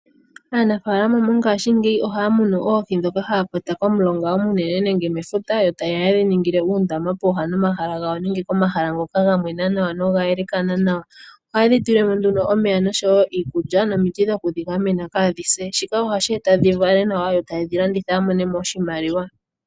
Aanafalama mongashingeyi ohaya munu oohi dhoka haya kwata komulonga omunene nenge mefuta yo tayeya yedhi ningile uundama pooha nomahala gawo nenge komahala ngoka ga mwena nawa noga elekana nawa. Ohayedhi tulilemo nduno omeya noshowo iikulya nomiti dhokudhi gamena kadhi se. Shika ohashi eta dhi vale nawa yo taye dhi landitha ya monemo oshimaliwa.